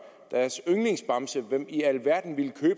deres yndlingsbamse hvem i alverden ville